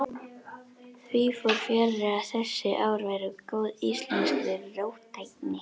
Því fór fjarri að þessi ár væru góð íslenskri róttækni.